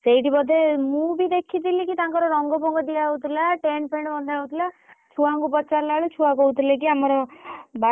ସେଠି ବୋଧେ ମୁଁ ବି ଦେଖିଥିଲି ତାଙ୍କର ରଙ୍ଗ ଫଙ୍ଗ ଦିଆ ହଉଥିଲା tent ଫେଣ୍ଟ‌ ବନ୍ଧା ହଉଥିଲା ଆଉ ଛୁଆଙ୍କୁ ପଚାରିଲା ବେଳକୁ ଛୁଆ କହୁଥିଲେ କି ଆମର ବାର୍ଷିକ ଉର୍ଷବ ହବ ଯଉ କ୍ରିଡା।